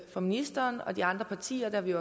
for ministeren og de andre partier det har vi